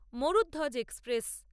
Mourdhwaj express